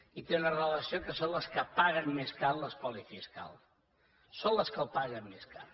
i té una relació que són les que paguen més car l’espoli fiscal són les que el paguen més car